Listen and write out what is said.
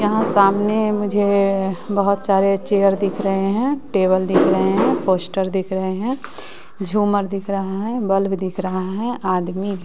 यहां सामने मुझे बहुत सारे चेयर दिख रहे हैं टेबल दिख रहे हैं पोस्टर दिख रहे हैं झूमर दिख रहा है बल्ब दिख रहा है आदमी भी--